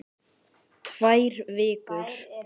Það lýsti henni sjálfri vel.